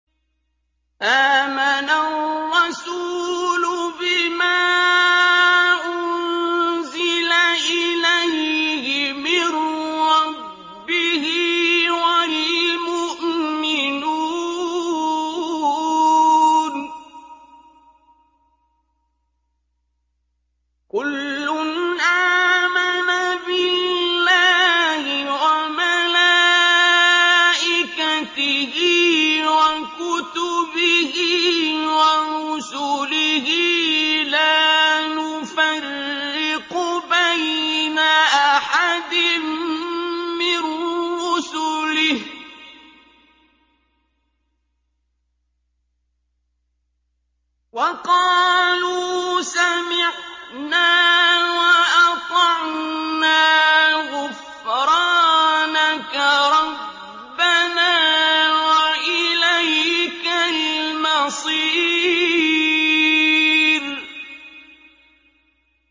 آمَنَ الرَّسُولُ بِمَا أُنزِلَ إِلَيْهِ مِن رَّبِّهِ وَالْمُؤْمِنُونَ ۚ كُلٌّ آمَنَ بِاللَّهِ وَمَلَائِكَتِهِ وَكُتُبِهِ وَرُسُلِهِ لَا نُفَرِّقُ بَيْنَ أَحَدٍ مِّن رُّسُلِهِ ۚ وَقَالُوا سَمِعْنَا وَأَطَعْنَا ۖ غُفْرَانَكَ رَبَّنَا وَإِلَيْكَ الْمَصِيرُ